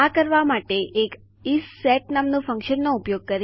આ કરવા માટે એક ઇસેટ નામનું ફન્કશનનો ઉપયોગ કરીશ